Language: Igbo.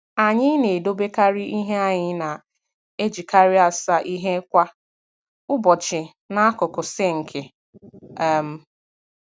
Anyị na-edobekari ihe anyị na-ejikari asa ihe kwa ụbọchị n'akụkụ sinki um